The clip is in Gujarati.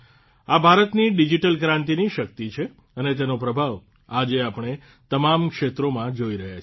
આ ભારતની ડિઝીટલ ક્રાંતિની શક્તિ છે અને તેનો પ્રભાવ આજે આપણે તમામ ક્ષેત્રોમાં જોઇ રહ્યાં છે